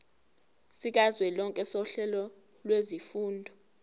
sikazwelonke sohlelo lwezifundo